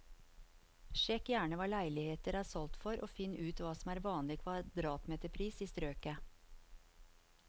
Sjekk gjerne hva leiligheter er solgt for, og finn ut hva som er vanlig kvadratmeterpris i strøket.